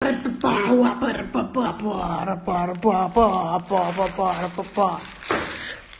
как ты пошла папа аэропорту папа